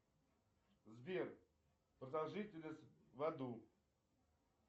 сбер продолжительность в аду